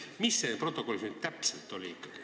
Mis selles protokollis nüüd ikkagi täpselt oli?